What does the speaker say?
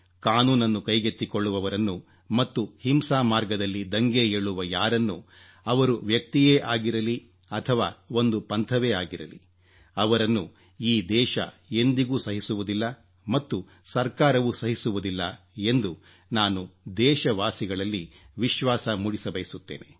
ಕಾನೂನನ್ನು ಕೈಗೆತ್ತಿಕೊಳ್ಳುವವರನ್ನು ಮತ್ತು ಹಿಂಸಾ ಮಾರ್ಗದಲ್ಲಿ ದಂಗೆ ಏಳುವ ಯಾರನ್ನೂ ಅವರು ವ್ಯಕ್ತಿಯೇ ಆಗಿರಲಿ ಅಥವಾ ಒಂದು ಪಂಥವೇ ಆಗಿರಲಿ ಅವರನ್ನು ಈ ದೇಶ ಎಂದಿಗೂ ಸಹಿಸುವುದಿಲ್ಲ ಮತ್ತು ಸರ್ಕಾರವೂ ಸಹಿಸುವುದಿಲ್ಲ ಎಂದು ನಾನು ದೇಶವಾಸಿಗಳಲ್ಲಿ ವಿಶ್ವಾಸಮೂಡಿಸಬಯಸುತ್ತೇನೆ